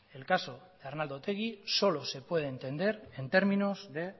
el caso de arnaldo otegi solo se puede entender en términos de